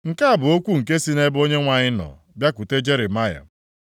Nke a bụ okwu nke sị nʼebe Onyenwe anyị nọ bịakwute Jeremaya,